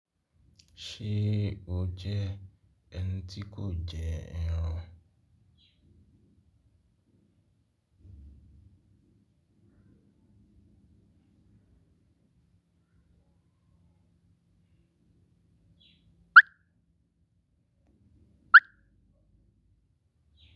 Ṣé o jẹ́ ẹni tí kò jẹ ẹran?